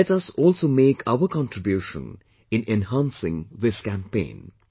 Let us also make our contribution in enhancing this campaign